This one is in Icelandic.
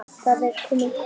Það var komið kvöld.